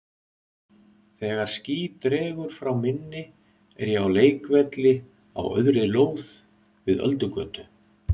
Þegar ský dregur frá minni er ég á leikvelli á auðri lóð við Öldugötu.